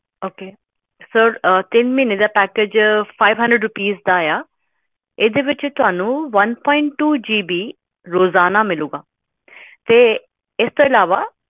ok package five hundred rupees